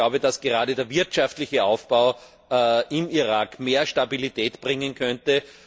Ich glaube, dass gerade der wirtschaftliche Aufbau im Irak mehr Stabilität bringen könnte.